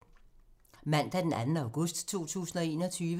Mandag d. 2. august 2021